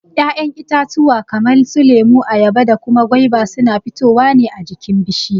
Ya'yan itatuwa kaman su lemo, ayaba da kuma gwaiba suna fitowa ne a jikin bishiya.